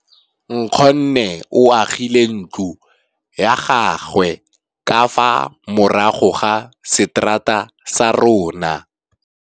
Nkgonne o agile ntlo ya gagwe ka fa morago ga seterata sa rona.